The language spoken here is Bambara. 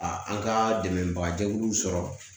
A an ka dɛmɛbaga jɛkuluw sɔrɔ